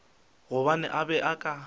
gobane a be a ka